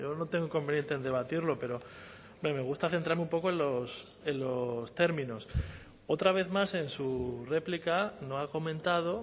no tengo inconveniente en debatirlo pero hombre me gusta centrarme un poco en los términos otra vez más en su réplica no ha comentado